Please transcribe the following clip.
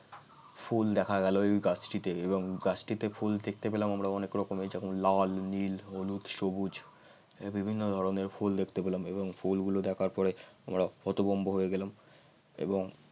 ফুল দেখা গেল ওই গাছটিতে এবং গাছটিতে ফুল দেখতে পেলাম আমরা অনেক রকমের যেমন লাল নীল হলুদ সবুজ এর বিভিন্ন ধরনের ফুল দেখতে পেলাম এবং ফুল গুলো দেখার পরে আমরা হতভম্ব হয়ে গেলাম এবং